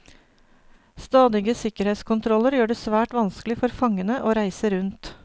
Stadige sikkerhetskontroller gjør det svært vanskelig for fangene å reise rundt.